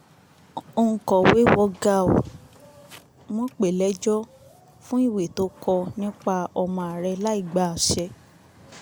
òǹkọ̀wé wo gàù wọn pè é lẹ́jọ́ fún ìwé tó kọ nípa ọmọ ààrẹ láì gba àṣẹ